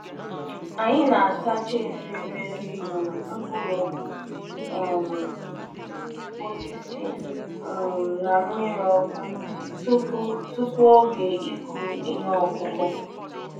Tupuu oge ọrụ ubi ọbụla, anyị na um -eji mmiri ọkụ mee ka mbadamba efere ukwu anyị um ji ekponye mkpụrụakụkụ.